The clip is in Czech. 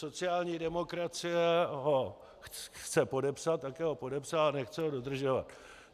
Sociální demokracie ho chce podepsat, také ho podepsala, ale nechce ho dodržovat.